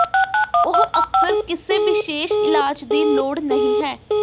ਉਹ ਅਕਸਰ ਕਿਸੇ ਵਿਸ਼ੇਸ਼ ਇਲਾਜ ਦੀ ਲੋੜ ਨਹੀ ਹੈ